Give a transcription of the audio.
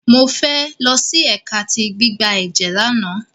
Mofe losi ẹka ti gbigbe ẹjẹ làná